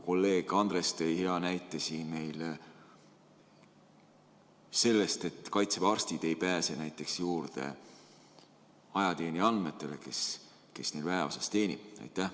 Kolleeg Andres tõi meile hea näite sellest, et Kaitseväe arstid ei pääse juurde nende ajateenijate andmetele, kes neil väeosas teenivad.